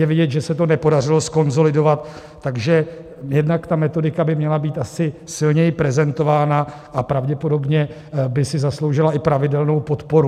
Je vidět, že se to nepodařilo zkonsolidovat, takže jednak ta metodika by měla být asi silněji prezentována a pravděpodobně by si zasloužila i pravidelnou podporu.